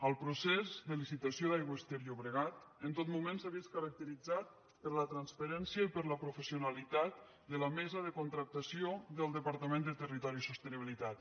el procés de licitació d’aigües ter llobregat en tot moment s’ha vist caracteritzat per la transparència i per la professionalitat de la mesa de contractació del departament de territori i sostenibilitat